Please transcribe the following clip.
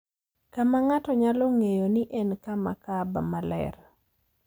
kama ng’ato nyalo ng’eyo ni en kama Kaaba maler